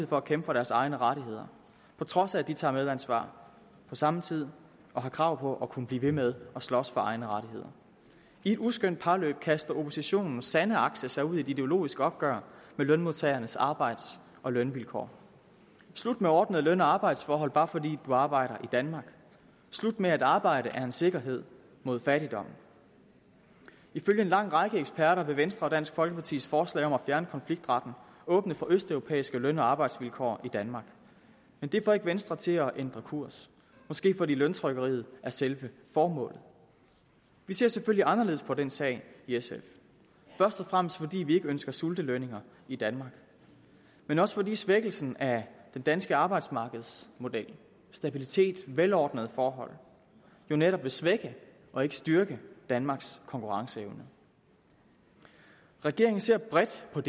for at kæmpe for deres egne rettigheder på trods af at de tager medansvar på samme tid og har krav på at kunne blive ved med at slås for egne rettigheder i et uskønt parløb kaster oppositionens sande akse sig ud i et ideologisk opgør med lønmodtagernes arbejds og lønvilkår slut med ordnede løn og arbejdsforhold bare fordi du arbejder i danmark slut med at arbejde er en sikkerhed mod fattigdom ifølge en lang række eksperter vil venstre og dansk folkepartis forslag om at fjerne konfliktretten åbne for østeuropæiske løn og arbejdsvilkår i danmark men det får ikke venstre til at ændre kurs måske fordi løntrykkeriet er selve formålet vi ser selvfølgelig anderledes på den sag i sf først og fremmest fordi vi ikke ønsker sultelønninger i danmark men også fordi svækkelsen af den danske arbejdsmarkedsmodel stabiliteten velordnede forhold jo netop vil svække og ikke styrke danmarks konkurrenceevne regeringen ser bredt på